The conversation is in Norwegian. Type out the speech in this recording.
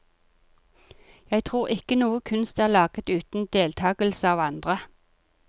Jeg tror ikke noe kunst er laget uten deltagelse av andre.